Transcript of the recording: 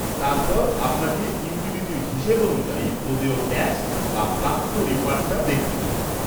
তারপর আপনাকে ইউটিলিটির হিসেব অনুযায়ী প্রদেয় ট্যাক্স বা প্রাপ্য রিফান্ডটা দেখতে হবে।